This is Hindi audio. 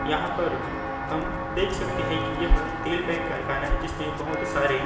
यहाँ पर हम देख सकते है की यह तेल का एक कारखाना है जिसमें बहुत सारे --